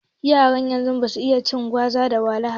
Yaran yanzu basu iya cin gwaza ko wahala ba